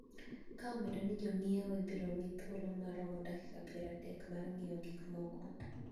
Ka omedo ni jong`iewo ibiro mi thuolo maromo dakika pier adek mar ng`iewo gikmoko